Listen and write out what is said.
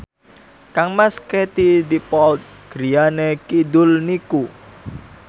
kangmas Katie Dippold griyane kidul niku